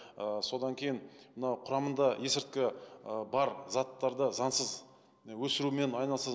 ы содан кейін мынау құрамында есірткі ы бар заттарды заңсыз өсірумен айналыса